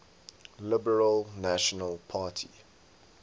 liberal national party